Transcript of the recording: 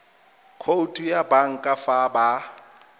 khoutu ya banka fa ba